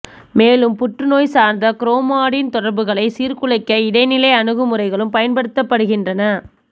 மேலும் புற்றுநோய் சார்ந்த குரோமாடின் தொடர்புகளை சீர்குலைக்க இடைநிலை அணுகுமுறைகளும் பயன்படுத்தப்படுகின்றன